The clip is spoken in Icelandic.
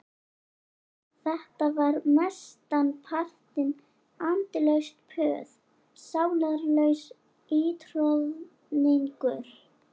Þetta var mestan partinn andlaust puð, sálarlaus ítroðningur.